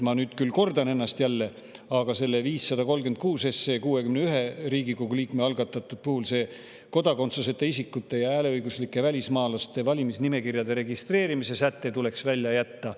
Ma nüüd küll kordan ennast jälle, aga 61 Riigikogu liikme algatatud 536 SE puhul tuleks kodakondsuseta isikute ja hääleõiguslike välismaalaste valimisnimekirjade registreerimise säte välja jätta.